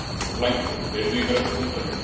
Blængur, heyrðu í mér eftir hundrað mínútur.